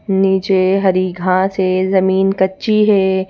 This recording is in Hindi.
नीचे हरी घांस है जमीन कच्ची है।